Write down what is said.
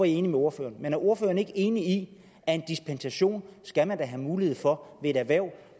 enig med ordføreren men er ordføreren ikke enig i at en dispensation skal man da have mulighed for i et erhverv